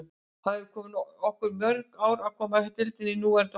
Það hefði tekið okkur mörg ár að koma deildinni í núverandi horf.